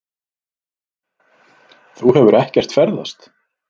Þú hefur ekkert ferðast.